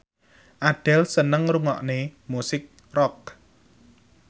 Adele seneng ngrungokne musik rock